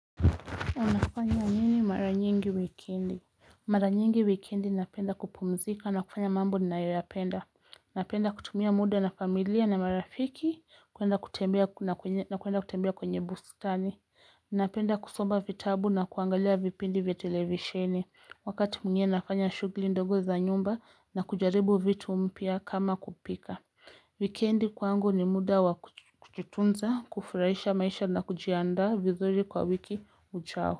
Unafanya nini mara nyingi wikendi. Mara nyingi wikendi napenda kupumzika na kufanya mambo ninayoyapenda. Napenda kutumia muda na familia na marafiki na kuenda kutembea kwenye bustani. Napenda kusoma vitabu na kuangalia vipindi vya televisheni. Wakati mnye nafanya shughli ndogo za nyumba na kujaribu vitu mpya kama kupika. Wikendi kwangu ni muda wakujitunza, kufurahisha maisha na kujianda vizuri kwa wiki uchao.